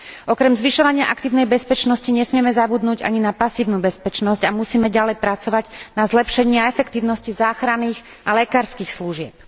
Okrem zvyšovania aktívnej bezpečnosti nesmieme zabudnúť ani na pasívnu bezpečnosť a musíme ďalej pracovať na zlepšení a efektívnosti záchranných a lekárskych služieb.